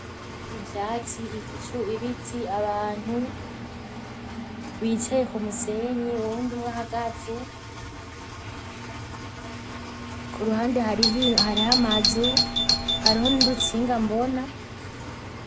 Ivyatsi, ibicu, ibiti, abantu bicaye kumusenyi uwundi umwe ahagaze, kuruhande hariho amazu hariho nurutsinga mbona.